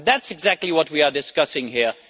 That is exactly what we are discussing here.